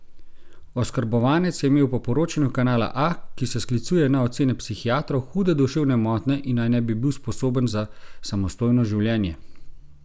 Oskrbovanec je imel po poročanju Kanala A, ki se sklicuje na ocene psihiatrov, hude duševne motnje in naj ne bi bil sposoben za samostojno življenje.